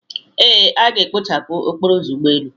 Ee, a ga-ekpochapụ ọkpọrọ ụzọ ụgbọelu.